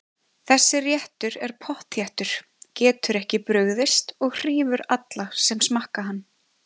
Þessi réttur er pottþéttur, getur ekki brugðist og hrífur alla sem smakka hann.